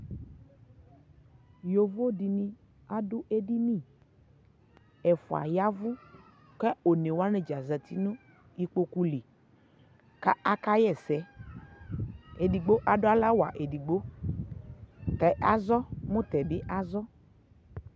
yɔvɔ dini adʋ ɛdini, ɛƒʋa yavʋ kʋ ɔdza wani zati nʋ ikpɔkʋ li, kʋ aka yɛsɛ , ɛdigbɔ adʋ ala wa ɛdigbɔ tɛ azɔ mʋ tɛ bi azɔ